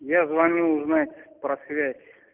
я звоню узнать про связь